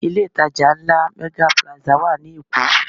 Ilé ìtajà ńlá Mega Plaza wà ní Èkó